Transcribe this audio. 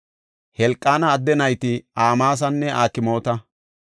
Helqaana adde nayti Amaasanne Akmoota.